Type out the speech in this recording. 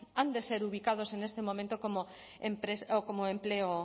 han de ser ubicados en este momento como empleo